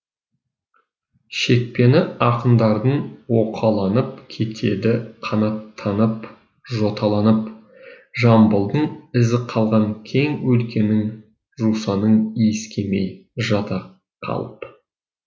шекпені ақындардың оқаланып кетеді қанаттанып жоталанып жамбылдың ізі қалған кең өлкенің жусанын иіскемей жата қалып